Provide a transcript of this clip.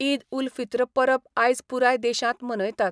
ईद उल फित्र परब आयज पुराय देशांत मनयतात.